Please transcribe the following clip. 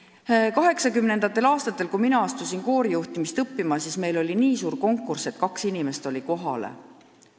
1980. aastatel, kui mina hakkasin koorijuhtimist õppima, oli konkurss nii suur, et kaks inimest oli kohale.